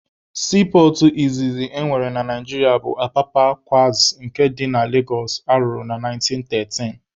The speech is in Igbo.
Siipọọtụ izizi e nwere na Naijiria bụ Apapa kwazi nke dị na Legosụ arụrụ na 1913.